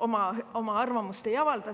oma arvamust ei avalda.